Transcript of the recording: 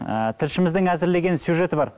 ы тілшіміздің әзірлеген сюжеті бар